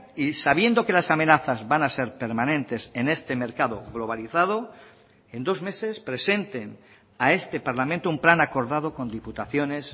y sabiendo que las amenazas van a ser permanentes en este mercado globalizado en dos meses presenten a este parlamento un plan acordado con diputaciones